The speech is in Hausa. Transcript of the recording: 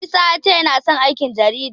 Isa ya ce yana son aikin jarida.